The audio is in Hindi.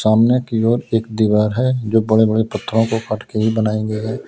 सामने की ओर एक दीवार है जो बड़े बड़े पत्थरों को काट के ही बनाई गई है।